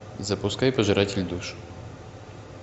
запускай пожиратель душ